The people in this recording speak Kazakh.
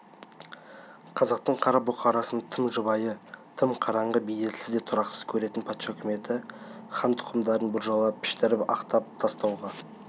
қазақтың қара бұқарасын тым жабайы тым қараңғы беделсіз де тұрақсыз көретін патша үкіметі хан тұқымдарын біржола піштіріп-ақтап тастауға